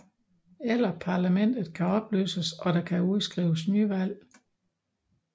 Eller parlamentet kan opløses og der kan udskrives nyvalg